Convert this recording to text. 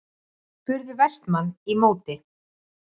spurði Vestmann í móti.